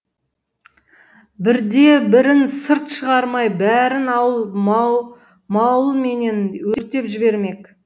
бірде бірін сырт шығармай бәрін ауыл мауылменен өртеп жібермек